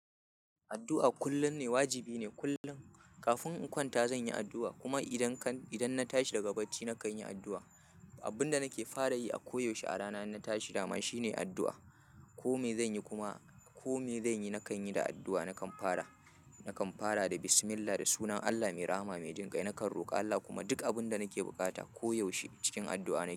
Addu'a kullum ne, wajibi ne kullum. Kafin in kwanta zan yi addu'a, kuma idan kan, idan na tashi daga bacci na kan yi addu'a. Abun da nake fara yi a koyaushe a rana in na tashi dama shine addu'a. Ko me zan yi kuma, ko me zan yi, na kan yi da addu'a, na kan fara, na kan fara da Bismillah, da sunan Allah mai Rahama, mai Jinƙai. Na kan roƙa Allah kuma duk abun da nake buƙata koyaushe cikin addu'a nake.